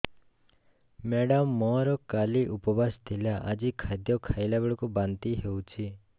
madam ମୋର କାଲି ଉପବାସ ଥିଲା ଆଜି ଖାଦ୍ୟ ଖାଇଲା ବେଳକୁ ବାନ୍ତି ହେଊଛି